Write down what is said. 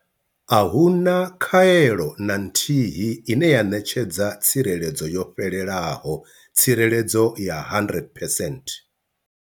A hu na khaelo na nthihi ine ya ṋetshedza tsireledzo yo fhelelaho tsireledzo ya 100 percent.